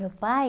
Meu pai...